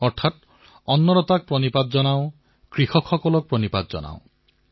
অৰ্থাৎ অন্নদাতাক প্ৰণাম কৃষকক প্ৰণাম